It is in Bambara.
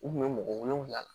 U kun bɛ mɔgɔ wolonwula la